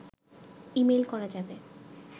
email করা যাবে